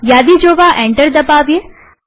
યાદી જોવા એન્ટર દબાવીએ